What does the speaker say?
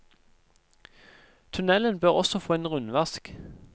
Tunnelen bør også få en rundvask.